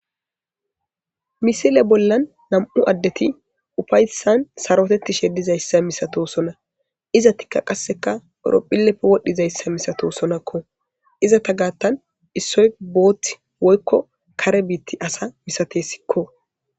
Misile bollan nam7u addeti ufayssan sarotettishe dizayssa misato sona iza tikka qasseka eropphilleppe wodhdhizayssa misato sonakko izata gaattan issoy booth woykko kare biitti asa misatessikko.